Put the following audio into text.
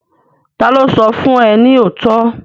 Ta ló sọ fún ẹ ní òótọ́?